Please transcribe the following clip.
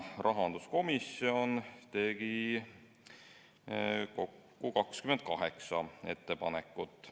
Rahanduskomisjon tegi kokku 28 ettepanekut.